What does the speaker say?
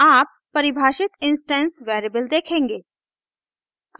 आप परिभाषित instance variable देखेंगे